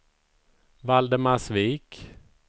Valdemarsvik